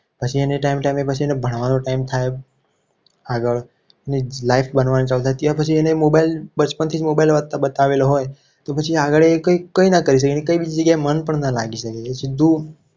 પછી એને time ટાઇમે ભણવાનું time થાય. આગળ એની life બનવાનું ચાલુ થાય ત્યાર પછી એને mobile બચપણથી જ mobile વાપરતા બતાવેલો હોય તો પછી એને આગળ કઈ કઈ રીતે કઈ જગ્યાએ મન પણ ના લાગી શકે? જો